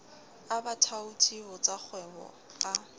a bathaoti ho tsakgwebo a